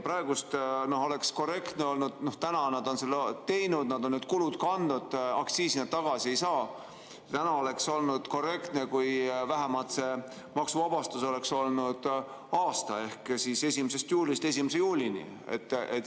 Praegu oleks korrektne olnud – nad on need kulud kandnud, aktsiisi nad tagasi ei saa –, kui vähemalt maksuvabastus oleks olnud aasta ehk 1. juulist 1. juulini.